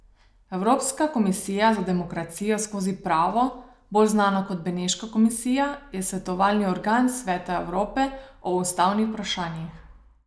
Evropska komisija za demokracijo skozi pravo, bolj znana kot Beneška komisija, je svetovalni organ Sveta Evrope o ustavnih vprašanjih.